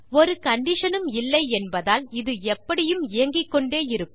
ஒரு கண்டிஷன் உம் இல்லை என்பதால் இது எப்படியும் இயங்கிக்கொண்டே இருக்கும்